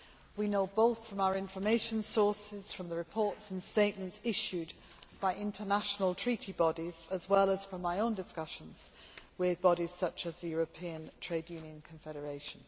We know this from our information sources, from the reports and statements issued by international treaty bodies, as well as from my own discussions with bodies such as the European Trade Union Confederation.